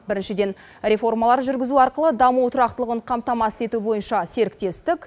біріншіден реформалар жүргізу арқылы даму тұрақтылығын қамтамасыз ету бойынша серіктестік